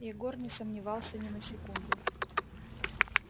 егор не сомневался ни на секунду